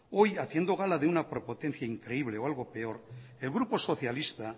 hoy haciendo gala de una prepotencia increíble o algo peor el grupo socialista